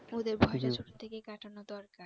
ওদের ভয়টা ছোট থেকেই কাটানো দরকার